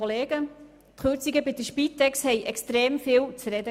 Die Kürzungen bei der Spitex gaben extrem viel zu reden.